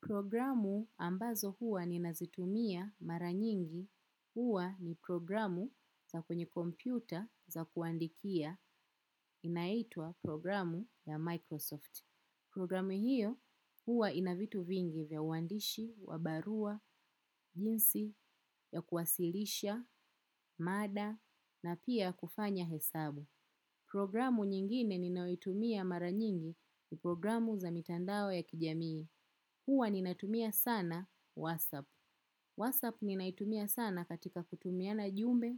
Programu ambazo huwa ni nazitumia mara nyingi huwa ni programu za kwenye kompyuta za kuandikia inaitwa programu ya Microsoft. Programu hiyo huwa inavitu vingi vya uandishi, wa barua, jinsi, ya kuwasilisha, mada, na pia kufanya hesabu. Programu nyingine ninauitumia mara nyingi ni programu za mitandao ya kijamii. Huwa ninatumia sana WhatsApp. WhatsApp ni naitumia sana katika kutumia na jumbe,